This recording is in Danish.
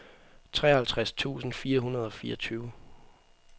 treoghalvtreds tusind fire hundrede og fireogtyve